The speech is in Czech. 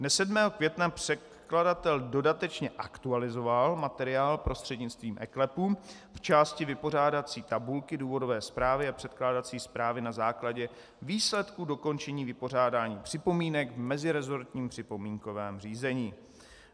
Dne 7. května předkladatel dodatečně aktualizoval materiál prostřednictvím eKLEP v části vypořádací tabulky důvodové zprávy a předkládací zprávy na základě výsledků dokončení vypořádání připomínek v meziresortním připomínkovém řízení.